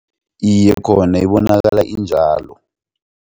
Iye, khona ibonakala injalo.